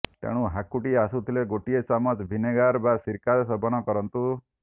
ତେଣୁ ହାକୁଟି ଆସୁଥିଲେ ଗୋଟିଏ ଚାମଚ ଭିନେଗାର ବା ସିରକା ସେବନ କରନ୍ତୁ